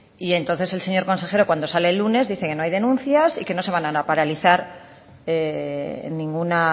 y entonces el señor consejero cuando sale el lunes dice que no hay denuncias y que no se van a paralizar ninguna